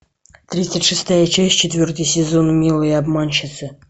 тридцать шестая часть четвертый сезон милые обманщицы